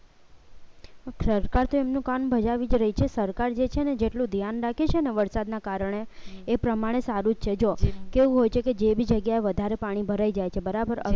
સરકાર તેમનું કામ બજાવી જ રહી છે સરકાર જે છે ને જેટલું ધ્યાન રાખે છે ને વરસાદના કારણે એ પ્રમાણે સારું છે જો કેવું હોય છે કે જે બી જગ્યાએ વધારે પાણી ભરાઈ જાય છે. બરાબર હવે